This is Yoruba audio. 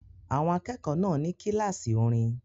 Àwọn akẹ́kọ̀ọ́ náà ní kíláàsì orin